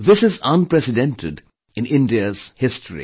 This is unprecedented in India's history